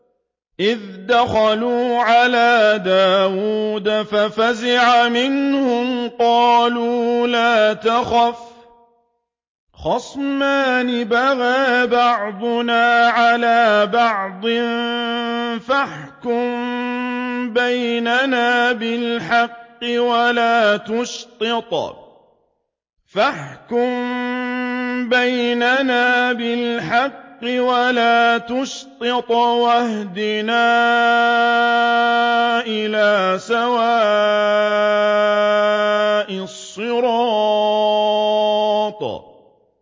إِذْ دَخَلُوا عَلَىٰ دَاوُودَ فَفَزِعَ مِنْهُمْ ۖ قَالُوا لَا تَخَفْ ۖ خَصْمَانِ بَغَىٰ بَعْضُنَا عَلَىٰ بَعْضٍ فَاحْكُم بَيْنَنَا بِالْحَقِّ وَلَا تُشْطِطْ وَاهْدِنَا إِلَىٰ سَوَاءِ الصِّرَاطِ